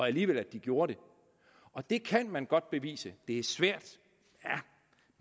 alligevel gjorde det og det kan man godt bevise det er svært